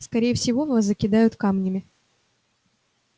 скорее всего вас закидают камнями